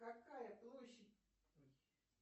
какая площадь ой